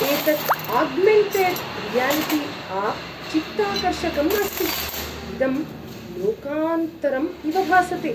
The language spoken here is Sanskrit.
एतत् आग्मेण्टेड् रियालिटि आप् चित्ताकर्षकम् अस्ति, इदं लोकान्तरम् इव भासते।